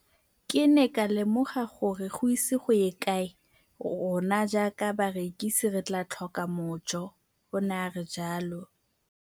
Ke ne ka lemoga gore go ise go ye kae rona jaaka barekise re tla tlhoka mojo, o ne a re jalo.